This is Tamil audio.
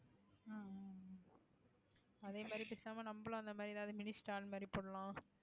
அதே மாதிரி பேசாம நம்மளும் அந்த மாதிரி ஏதாவது mini stall மாறி போடலாம்